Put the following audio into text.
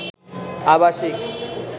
আবাসিক